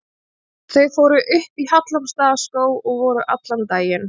Þau fóru upp í Hallormsstaðarskóg og voru allan daginn.